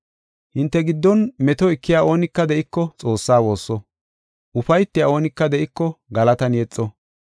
Hinte giddon meto ekiya oonika de7iko Xoossaa woosso. Ufaytiya oonika de7iko galatan yexo.